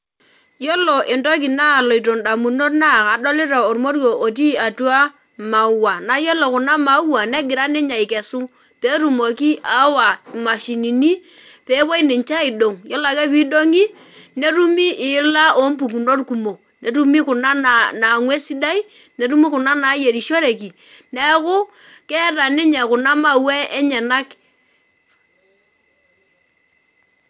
Yiolo entoki naloto ndamunot na kadolita ormoruo otii atua maua na yiolo kunamaua negira ninye akesu petumoki ayawa mashinini pepuo ninche aidong yiolo ake pidongi netumi iila ompukuno kumok, netumi kuna nangu esidai ntumi kuna nayierishoreki neaku keeta ninye kuna maua enyenak